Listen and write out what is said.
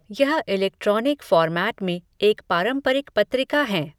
यह electronic format में एक पारंपरिक पत्रिका हैं